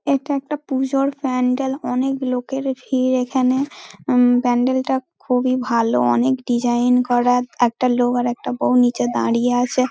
এটা একটা পুজোর প্যান্ডেল অনেক লোকের ভিড় এখানে । প্যান্ডেল -টা খুবই ভালো অনেক ডিসাইন করা একটা লোক এর একটা বৌ নীচে দাঁড়িয়ে আছে |